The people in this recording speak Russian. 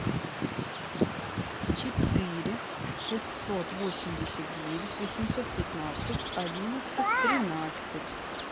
четыре шестьсот восемьдесят девять восемьсот пятнадцать одиннадцать тринадцать